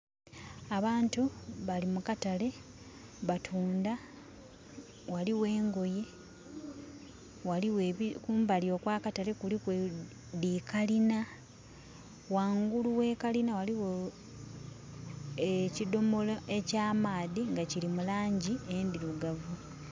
Abantu bali mu katale, batunda. Ghaliwo engoye. Kumbali okwa katale kuliku dhi kalina. Ghangulu we kalina waliwo ekidomola ekya maadhi nga kiri mu langi endirugavu